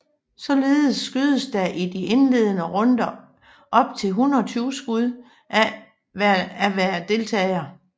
Således skydes der i de indledende runder op til 120 skud af hver deltager